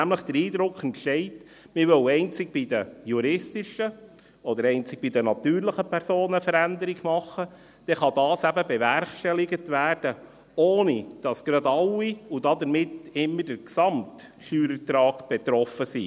Wenn nämlich der Eindruck entsteht, man wolle einzig bei den juristischen oder einzig bei den natürlichen Personen eine Veränderung machen, dann kann dies eben bewerkstelligt werden, ohne dass gerade alle, und damit immer der Gesamtsteuerertrag, betroffen wären.